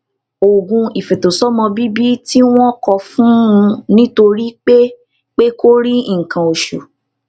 oògùn ìfètòsómọbíbí tí wón kọ fún un nítorí pé pé kò rí nǹkan oṣù